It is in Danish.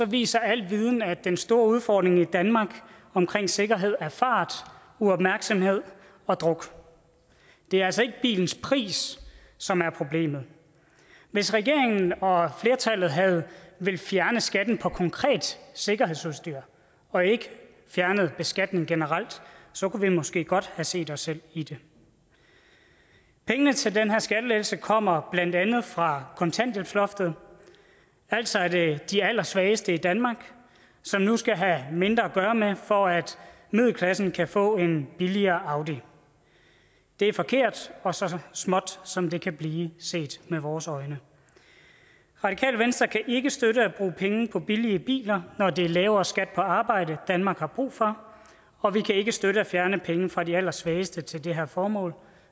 viser al viden at den store udfordring i danmark omkring sikkerhed er fart uopmærksomhed og druk det er altså ikke bilens pris som er problemet hvis regeringen og flertallet havde villet fjerne skatten på konkret sikkerhedsudstyr og ikke fjernet beskatningen generelt så kunne vi måske godt have set os selv i det pengene til den her skattelettelse kommer blandt andet fra kontanthjælpsloftet altså er det de allersvageste i danmark som nu skal have mindre at gøre med for at middelklassen kan få en billigere audi det er forkert og så småt som det kan blive set med vores øjne radikale venstre kan ikke støtte at bruge penge på billige biler når det er lavere skat på arbejde danmark har brug for og vi kan ikke støtte at fjerne penge fra de allersvageste til det her formål